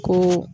Ko